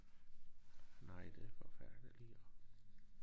Nej det forfærdeligt jo